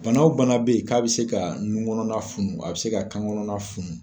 Bana wo bana be yen ka be se ka nun kɔnɔna funu a be se ka kan kɔnɔna funu